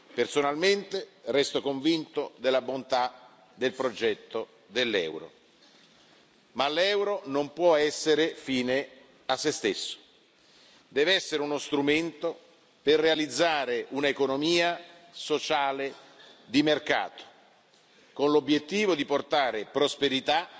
Personalmente resto convinto della bontà del progetto dell'euro, ma l'euro non può essere fine a sé stesso, deve essere uno strumento per realizzare un'economia sociale di mercato, con l'obiettivo di portare prosperità